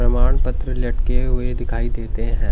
प्रमाण पत्र लटके हुए दिखाई देते हैं।